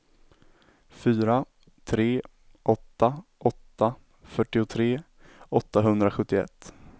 fyra tre åtta åtta fyrtiotre åttahundrasjuttioett